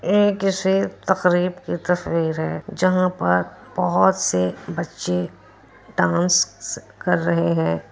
ए किसी तकरीफ की तस्वीर है जहां पर बोहोत से बच्चे डांस कर रहे है।